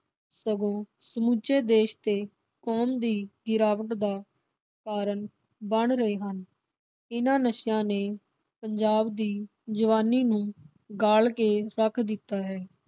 ਸਗੋਂ ਸਮੂਚੇ ਦੇਸ਼ ਤੇ ਕੌਮ ਦੀ ਗਿਰਾਵਟ ਦਾ ਕਾਰਨ ਬਣ ਰਹੇ ਹਨ। ਇਨ੍ਹਾਂ ਨਸ਼ਿਆਂ ਨੇ ਪੰਜਾਬ ਦੀ ਜਵਾਨੀ ਨੂੰ ਗਾਲ ਕੇ ਰੱਖ ਦਿੱਤਾ ਹੈ।